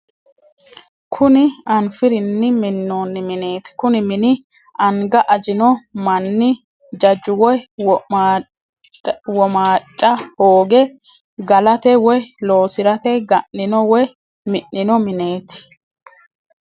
Kuni anfirinni minonni mineeti, kuni mini anga ajino mani jaju woyi womaadha hooge galate woyi loosirate ga'nino woyi minino mineeti